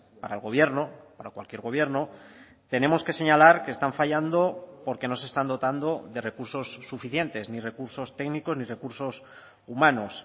para el gobierno para cualquier gobierno tenemos que señalar que están fallando porque no se están dotando de recursos suficientes ni recursos técnicos ni recursos humanos